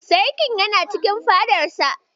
Sarkin yana cikin fadarsa.